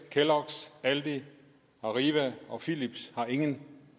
kelloggs aldi arriva og philips har ingen